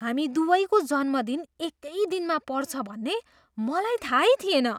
हामी दुवैको जन्मदिन एकै दिनमा पर्छ भन्ने मलाई थाहै थिएन!